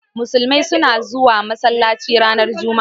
Musulmai suna zuwa masallaci ranar Juma'a.